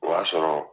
O y'a sɔrɔ